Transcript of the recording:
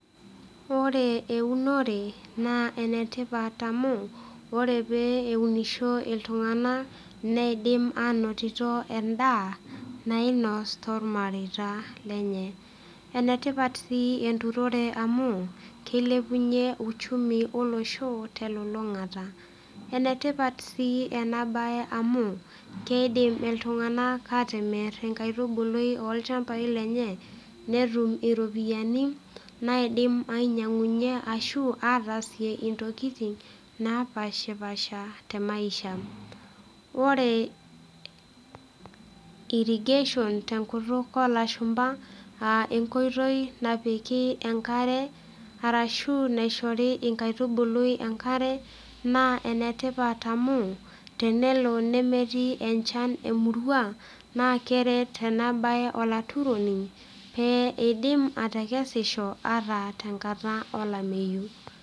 Ore eunore naa ene tipat amu ore pee eunisho iltung'anak, neidim anotito endaa nainoos toolmareita lenye. Ene tipat sii enturore amu, keilepunye uchumi olosho telulungata. enet ipat sii ena bae amu kiidim, iltunganak aatimir enkaitubului olchampai lenye, netum iropyiani, naidim ainyiangunye ashu ataasie ntokitin naapashipasha te maisiha. ore irrigation tenkutuk oo lashumpa.aa enkoitoi napiki enkare, arashu naishori enkaitubului enkare, naa ene tipat amu tenelo nemetii, enchan emurua naa keret ena bae olaturoni pee idip atekesisho ata tenkata olameyu.